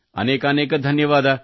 ಅನೇಕಾನೇಕ ಧನ್ಯವಾದ